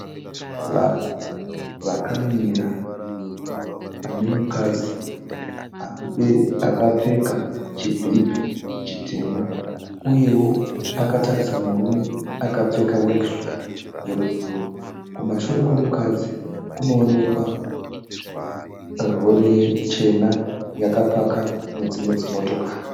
Vanhu vakamira pane mukadzi akapfeka chibhipi chitema uyewo akatarisa murume akapfeka (worksuit) yebhuruu. Kumashure kwemukadzi kunoonekwa rori chena yakapaka nedzimwe motokari.